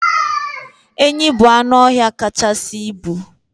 Enyi bụ anụọhịa kachasị ibu